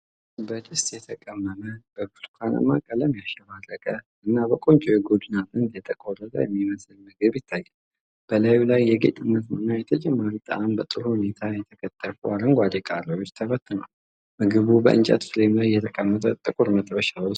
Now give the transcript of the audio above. በድስት የተቀመመ፣ በብርቱካናማ ቀለም ያሸበረቀ እና በቆንጆ የጎድን አጥንት የተቆረጠ የሚመስል ምግብ ይታያል። በላዩ ላይ ለጌጥነት እና ለተጨማሪ ጣዕም በጥሩ ሁኔታ የተከተፉ አረንጓዴ ቃሪያዎች ተበትነዋል። ምግቡ በእንጨት ፍሬም ላይ በተቀመጠ ጥቁር መጥበሻ ውስጥ ቀርቧል።